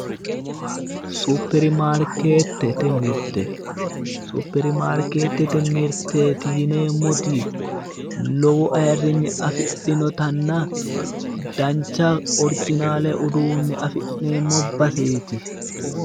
Super marketete mirte. Supermarkeetete mirteeti yineemmoti lowo ayirrinye afidhinotenna dancha orjinaale uduunne afi'neemmo baseeti